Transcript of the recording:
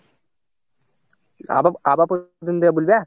আবার, আবার প্রথম থেকে বলবে?